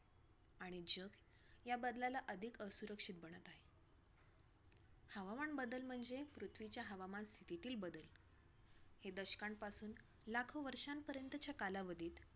आणि जग ह्या बदलाला अधिक असुरक्षित म्हणत आहे. हवामान बदल म्हणजे पृथ्वीच्या हवामान स्थितितील बदल हे दशकांपासून लाखो वर्षांपर्यंतच्या कालावधीत.